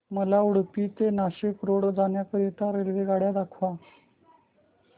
मला उडुपी ते नाशिक रोड जाण्या करीता रेल्वेगाड्या दाखवा